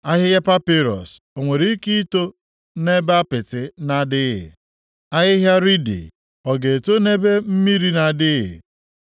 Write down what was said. Ahịhịa papịrọs o nwere ike ito nʼebe apịtị na-adịghị? Ahịhịa riidi ọ ga-eto nʼebe mmiri na-adịghị?